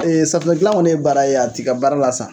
safunɛ dilan kɔni ye baara ye, a t'i ka baara lasa